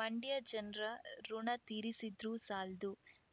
ಮಂಡ್ಯ ಜನ್ರ ಋುಣ ತೀರಿಸಿದ್ರು ಸಾಲ್ದು